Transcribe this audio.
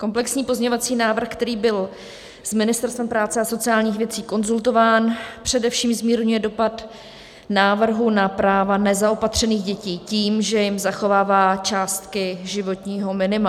Komplexní pozměňovací návrh, který byl s Ministerstvem práce a sociálních věcí konzultován, především zmírňuje dopad návrhu na práva nezaopatřených dětí tím, že jim zachovává částky životního minima.